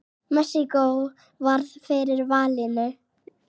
Mexíkó varð fyrir valinu.